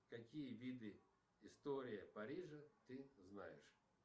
какие виды история парижа ты знаешь